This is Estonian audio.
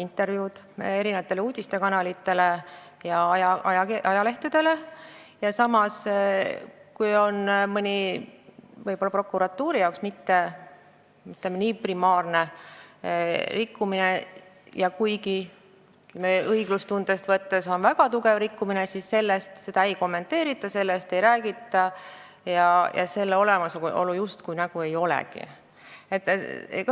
intervjuusid uudiste kanalitele ja ajalehtedele, aga kui on mõni prokuratuuri jaoks võib-olla mitte nii primaarne rikkumine ja kuigi õiglustundest lähtudes on see väga tugev rikkumine, siis seda ei kommenteerita, sellest ei räägita ja seda justkui ei olegi olemas.